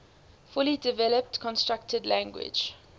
fully developed constructed language